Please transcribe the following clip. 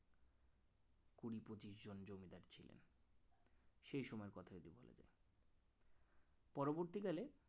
সেই সময়ের কথা যদি বলা যায় পরবর্তীকালে